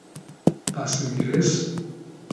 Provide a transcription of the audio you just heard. Pa se mi res.